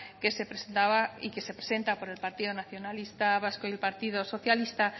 que se presentaba y que se presenta por el partido nacionalista vasco y el partido socialista